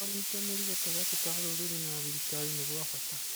ũnyitanĩri gatagatĩ ka rũrĩrĩ na thirikari nĩ gwa bata